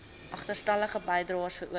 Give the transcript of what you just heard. agterstallige bydraes veroorsaak